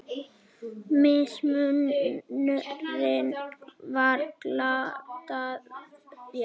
Mismunurinn var glatað fé.